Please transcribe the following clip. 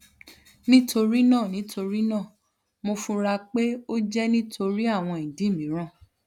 nitorina nitorina mo fura pe o jẹ nitori awọn idi miiran